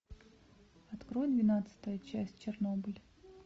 открой двенадцатую часть чернобыль